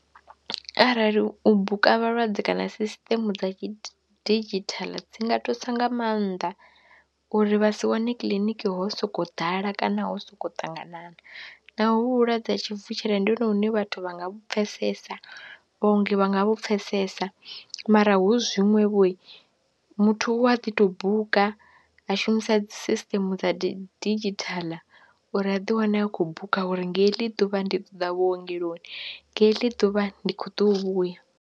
Arali u buka vhalwadze kana sisiṱeme dza didzhithala dzi nga thusa nga maanḓa uri vha si wane kiḽiniki ho sokou ḓala kana ho sokou ṱanganana naho hu vhulwadze ha tshivutshela ndi hone hune vhathu vha nga vhu pfhesesa, vhaongi vha nga vhu pfhesesa mara hu zwiṅwevho muthu u a ḓi tou buka, a shumisa dzi sisiṱeme dza didzhithala uri a ḓiwane a khou buka uri nga heḽi ḓuvha ndi ḓo ḓa vhuongeloni nga heḽi ḓuvha ndi khou tou vhuya.